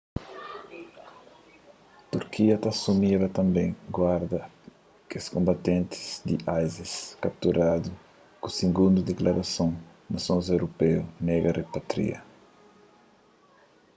turquia ta asumiba tanbê guarda kes konbatentis di isis kapturadu ki sigundu diklarason nasons europeu nega ripatria